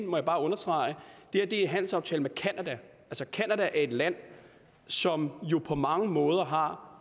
understrege en handelsaftale med canada er et land som jo på mange måder har